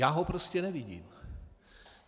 Já ho prostě nevidím.